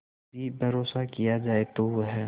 भी भरोसा किया जाए तो वह